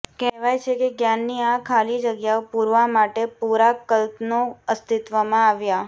કહેવાય છે કે જ્ઞાનની આ ખાલી જગ્યાઓ પૂરવા માટે પૂરા કલ્પનો અસ્તિત્વમાં આવ્યા